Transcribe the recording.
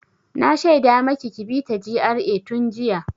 Na shaida maki ki bi ta GRA tun jiya!